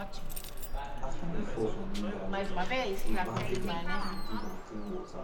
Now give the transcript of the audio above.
after e fall from wheelbarrow we bandage am and give am clean water